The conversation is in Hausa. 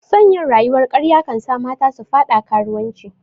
Son yin rayuwar karya kansa mata su fada karuwanci